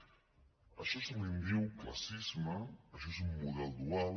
d’això se’n diu classisme això és un model dual